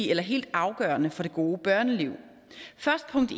eller helt afgørende for det gode børneliv først punkt